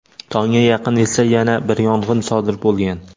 Tongga yaqin esa yana bir yong‘in sodir bo‘lgan.